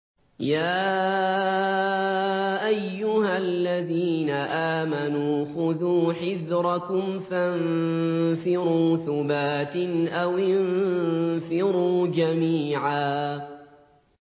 يَا أَيُّهَا الَّذِينَ آمَنُوا خُذُوا حِذْرَكُمْ فَانفِرُوا ثُبَاتٍ أَوِ انفِرُوا جَمِيعًا